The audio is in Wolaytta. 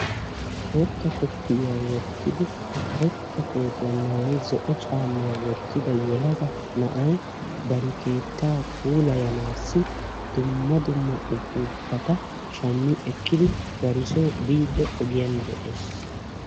Boottaa koppiyiyaa wottidi karetta koottiya maayyidi zo'o caamma woottidi na'ay bari keettaa puulayanassi dumma dumma uppupata shammi ekkidi dar soo biide ogiyaan de'ees.